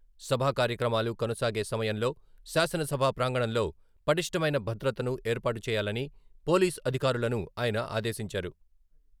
సభా కార్యక్రమాలు కొనసాగే సమయంలో శాసన సభా ప్రాంగణంలో పటిష్టమైన భద్రతను ఏర్పాటు చేయాలని పోలీస్ అధికారులను ఆయన ఆదేశించారు.